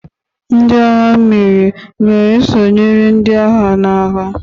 Ndị agha mmiri ga-esonyere ndị agha n'agha?